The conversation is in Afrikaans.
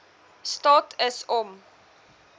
staat is om